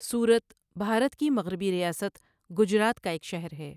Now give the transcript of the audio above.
سورت بھارت کی مغربی ریاست گجرات کا ایک شہر ہے۔